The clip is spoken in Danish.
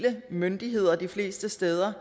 myndighed de fleste steder